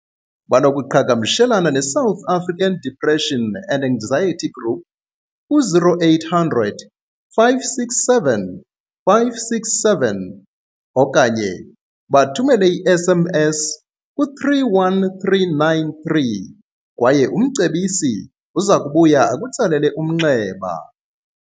Banokuqhagamshelana ne-South African Depression and Anxiety Group, ku-0800 567 567 okanye bathumele i-SMS ku-31393 kwaye umcebisi uzakubuya akutsalele umnxeba.